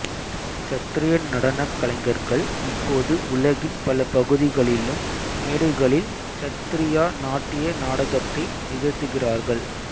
சத்ரிய நடனக் கலைஞர்கள் இப்போது உலகின் பல பகுதிகளிலும் மேடைகளில் சத்ரியா நாட்டிய நாடகத்தை நிகழ்த்துகிறார்கள்